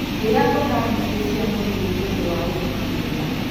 Rĩa mboga nyingĩ cia mũruru nĩũndũ wa ũgima mwega